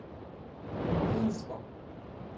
Rutinsko.